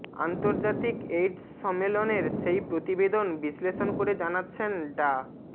আন্তর্জাতিক এইডস সম্মেলনের সেই প্রতিবেদন বিশ্লেষণ করে জানাচ্ছেন ডা